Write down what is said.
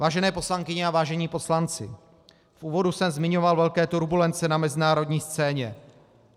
Vážené poslankyně a vážení poslanci, v úvodu jsem zmiňoval velké turbulence na mezinárodní scéně.